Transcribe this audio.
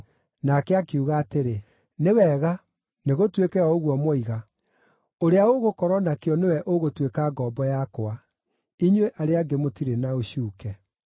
Nake akiuga atĩrĩ, “Nĩ wega, nĩgũtuĩke o ũguo mwoiga. Ũrĩa ũgũkorwo nakĩo nĩwe ũgũtuĩka ngombo yakwa; inyuĩ arĩa angĩ mũtirĩ na ũcuuke.”